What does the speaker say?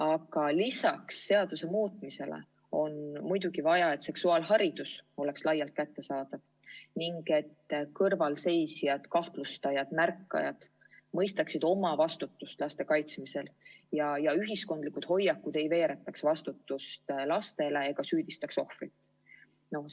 Aga lisaks seaduse muutmisele on muidugi vaja, et seksuaalharidus oleks laialt kättesaadav ning et kõrvalseisjad, kahtlustajad, märkajad mõistaksid oma vastutust laste kaitsmisel ja et ühiskondlik hoiak ei veeretaks vastutust lastele ega süüdistaks ohvrit.